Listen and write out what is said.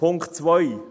Punkt 2